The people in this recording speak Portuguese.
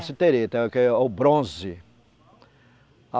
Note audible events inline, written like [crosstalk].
Cassiterita, é o que é o bronze. [unintelligible]